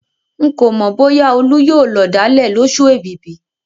Ń kò mọ bóyá olú yóò lọ̀dálẹ̀ lósù èbìbì